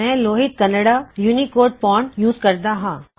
ਮੈਂ Lohit Kannada Unicode font ਇਸਤੇਮਾਲ ਕਰ ਰਹਿਆ ਹਾਂ